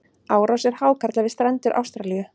árásir hákarla við strendur ástralíu